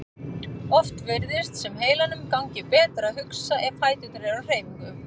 Oft virðist sem heilanum gangi betur að hugsa ef fæturnir eru á hreyfingu.